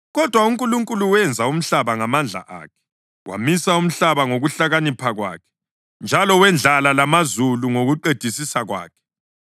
Kodwa uNkulunkulu wenza umhlaba ngamandla akhe, wamisa umhlaba ngokuhlakanipha kwakhe, njalo wendlala lamazulu ngokuqedisisa kwakhe.